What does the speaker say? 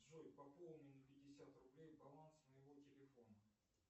джой пополни на пятьдесят рублей баланс моего телефона